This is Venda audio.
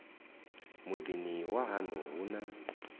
muḓini wa haṋu hu na